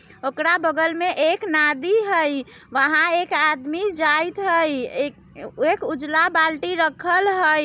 ओकरा बगल में एक नादी हइ वहां इक आदमी जायत हइ| एक एक उजला बाल्टी रखल हई।